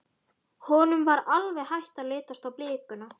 Honum var alveg hætt að lítast á blikuna.